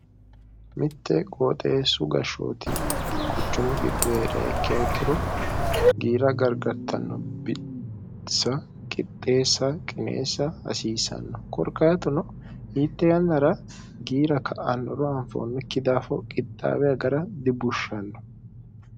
mitte gooxeessu gashshooti quchumu giddu hrayikkiikkiro giira gargartanno bitisa qixxeessa qineessa hasiisanno korqaatuno hiitte yannara giira ka'annoro anfoonnokki daafo qixxaabe agara dibushshanno